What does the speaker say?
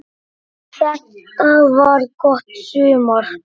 Þetta var gott sumar.